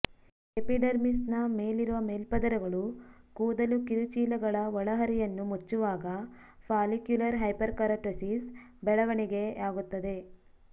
ಎಪಿಡರ್ಮಿಸ್ನ ಮೇಲಿರುವ ಮೇಲ್ಪದರಗಳು ಕೂದಲು ಕಿರುಚೀಲಗಳ ಒಳಹರಿವನ್ನು ಮುಚ್ಚುವಾಗ ಫಾಲಿಕ್ಯುಲರ್ ಹೈಪರ್ಕೆರಟೊಸಿಸ್ ಬೆಳವಣಿಗೆಯಾಗುತ್ತದೆ